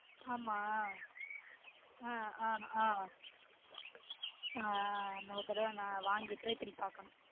ஆமா உம் அஹ் அஹ் ஆஹ் ஆஹ் இன்னொரு தடவ நா வாங்கி try பன்னி பாக்கணும்